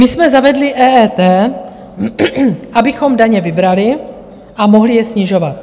My jsme zavedli EET, abychom daně vybrali a mohli je snižovat.